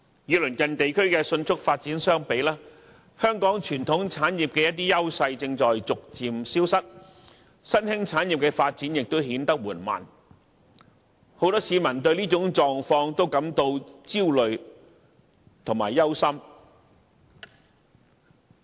與鄰近地區的迅速發展相比，香港傳統產業的優勢正逐漸消失，新興產業的發展亦顯得緩慢，很多市民都對這種狀況感到焦慮和憂心。